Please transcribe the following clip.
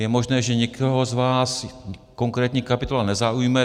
Je možné, že někoho z vás konkrétní kapitola nezaujme.